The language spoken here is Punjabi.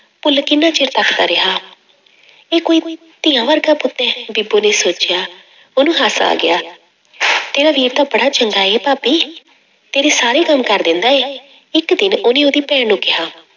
ਭੁੱਲ ਕਿੰਨਾ ਚਿਰ ਤੱਕਦਾ ਰਿਹਾ ਇਹ ਕੋਈ ਧੀਆਂ ਵਰਗਾ ਪੁੱਤ ਹੈ ਬੀਬੋ ਨੇ ਸੋਚਿਆ, ਉਹਨੂੰ ਹਾਸਾ ਆ ਗਿਆ ਤੇਰਾ ਵੀਰ ਤਾਂ ਬੜਾ ਚੰਗਾ ਹੈ ਭਾਬੀ ਤੇਰੇ ਸਾਰੇ ਕੰਮ ਕਰ ਦਿੰਦਾ ਹੈ, ਇੱਕ ਦਿਨ ਉਹਨੇ ਉਹਦੀ ਭੈਣ ਨੂੰ ਕਿਹਾ।